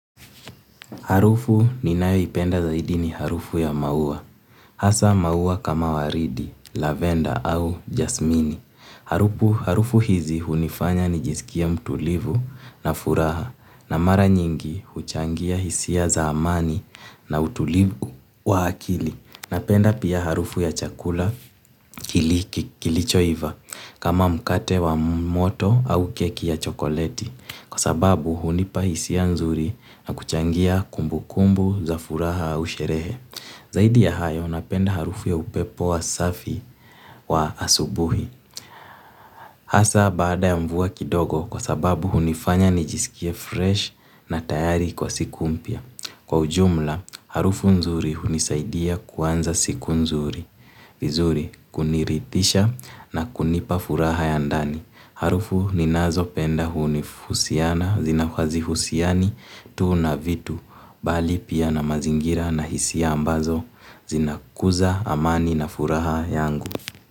Harufu ninao ipenda zaidi ni harufu ya maua. Hasa maua kama waridi, lavender au jasmini. Harufu hizi hunifanya ni jizikie mtulivu na furaha. Na mara nyingi huchangia hisia za amani na utulivu wa hakili. Napenda pia harufu ya chakula kilichoiva. Kama mkate wa moto au keki ya chokoleti. Kwa sababu hunipa isia nzuri na kuchangia kumbu kumbu za furaha au sherehe. Zaidi ya hayo napenda harufu ya upepo wa safi wa asubuhi. Hasa baada ya mvua kidogo kwa sababu hunifanya nijisikie fresh na tayari kwa siku mpia. Kwa ujumla, harufu nzuri hunisaidia kuanza siku nzuri, vizuri kuniritisha na kunipa furaha ya ndani. Harufu ninazo penda hunihusiana zina hazihusiani tu na vitu bali pia na mazingira na hisia ambazo zinakuza amani na furaha yangu.